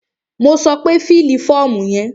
Mo sọ pé fílì fọ́ọ̀mù yẹn!